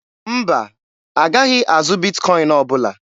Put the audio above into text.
Mba, a gaghị azụ Bitkọin ọbụla.